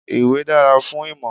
Ìwé dára fún ìmọ̀.